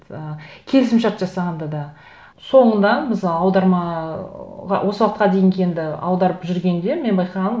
ііі келісімшарт жасағанда да соңында біз аударма ыыы осы уақытқа дейінгі енді аударып жүргенде мен байқағаным